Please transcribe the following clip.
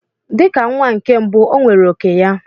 Dị ka nwa nke mbụ, o nwere òkè ya.